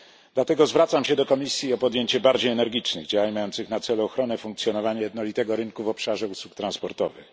Dlatego zwracam się do Komisji o podjęcie bardziej energicznych działań mających na celu ochronę funkcjonowania jednolitego rynku w obszarze usług transportowych.